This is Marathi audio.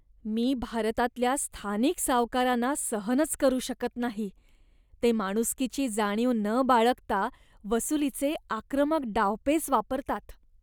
मी भारतातल्या स्थानिक सावकारांना सहनच करू शकत नाही, ते माणुसकीची जाणीव न बाळगता वसुलीचे आक्रमक डावपेच वापरतात.